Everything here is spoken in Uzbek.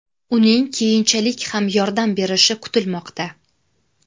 Uning keyinchalik ham yordam berishi kutilmoqda.